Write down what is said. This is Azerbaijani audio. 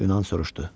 Yunan soruşdu.